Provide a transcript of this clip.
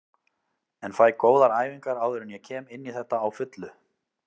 En fæ góðar æfingar áður en ég kem inní þetta á fullu.